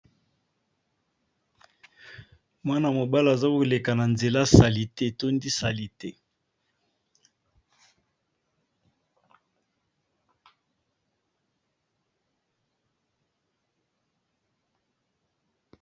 Mwana mobali aza koleka na nzela salite etondi salite.